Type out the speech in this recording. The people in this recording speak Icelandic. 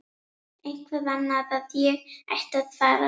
Eitthvað annað en að ég ætti að fara.